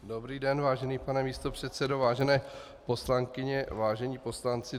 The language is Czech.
Dobrý den vážený pane místopředsedo, vážené poslankyně, vážení poslanci.